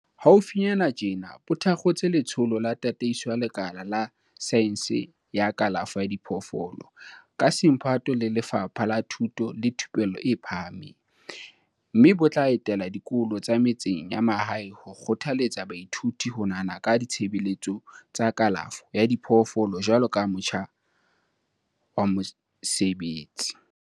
Haufinyana tjena bo tha kgotse Letsholo la Tataiso ya Lekala la Saense ya Kalafo ya Diphoofolo, ka semphato le Lefapha la Thuto le Thupello e Phahameng, mme bo tla etela dikolo tsa metseng ya mahae ho kgothaletsa baithuti ho nahana ka ditshebeletso tsa kalafo ya diphoofolo jwaloka motjha wa mosebetsi.